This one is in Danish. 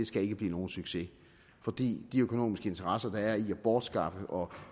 skal blive nogen succes fordi de økonomiske interesser der er i at bortskaffe og